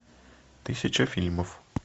тысяча фильмов